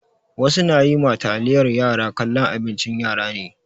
Wasu na yi ma taliyar yara kallon abincin yara ne.